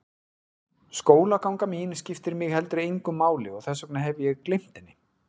Skólaganga mín skiptir mig heldur engu máli og þess vegna hef ég gleymt henni.